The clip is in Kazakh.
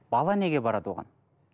бала неге барады оған